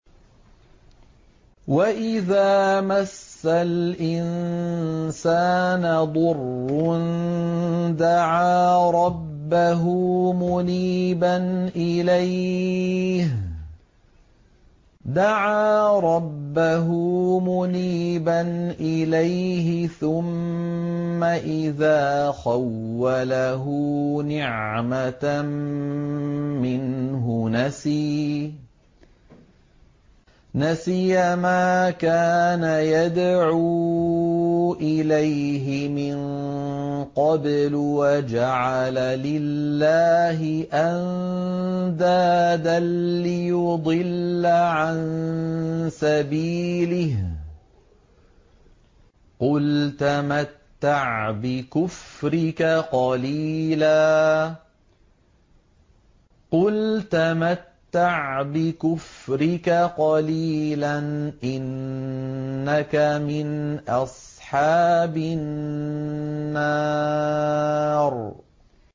۞ وَإِذَا مَسَّ الْإِنسَانَ ضُرٌّ دَعَا رَبَّهُ مُنِيبًا إِلَيْهِ ثُمَّ إِذَا خَوَّلَهُ نِعْمَةً مِّنْهُ نَسِيَ مَا كَانَ يَدْعُو إِلَيْهِ مِن قَبْلُ وَجَعَلَ لِلَّهِ أَندَادًا لِّيُضِلَّ عَن سَبِيلِهِ ۚ قُلْ تَمَتَّعْ بِكُفْرِكَ قَلِيلًا ۖ إِنَّكَ مِنْ أَصْحَابِ النَّارِ